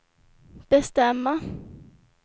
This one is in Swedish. bestämma